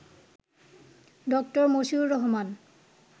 ড: মশিউর রহমান